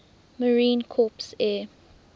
marine corps air